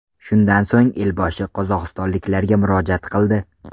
Shundan so‘ng elboshi qozog‘istonliklarga murojaat qildi .